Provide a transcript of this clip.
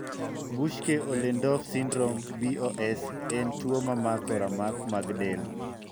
Buschke Ollendorff syndrome (BOS) en tuo mamako ramak mag del.